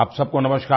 आप सबको नमस्कार